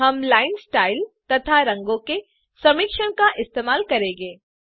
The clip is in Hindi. हम लाइन स्टाइल तथा रंगो के समिश्रण का इस्तेमाल करेंगे